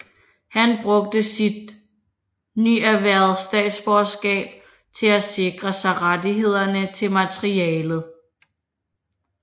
Han brugte sit nyerhvervede statsborgerskab til at sikre sig rettighederne til materialet